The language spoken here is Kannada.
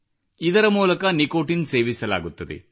ಇದರ ಮೂಲಕ ನಿಕೋಟಿನ್ ಸೇವಿಸಲಾಗುತ್ತದೆ